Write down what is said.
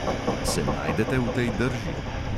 Se najdete v tej drži?